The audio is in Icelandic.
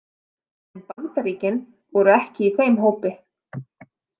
En Bandaríkin voru ekki í þeim hópi.